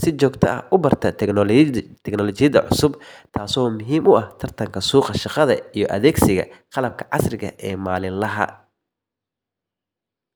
si joogto ah u barta tiknoolajiyadda cusub, taasoo muhiim u ah tartanka suuqa shaqada iyo adeegsiga qalabka casriga ah ee maalinlaha. Ugu dambayn, fahamka kombuyuutarka wuxuu furayaa albaabyo badan oo nololeed, sida shaqooyin toos ah, waxbarasho online ah, iyo xitaa ganacsi aad adigu si madax bannaan u waddo, sidaas darteedna waa muhiim in qof walba uu fursad u helo tababarro noocan oo kale ah.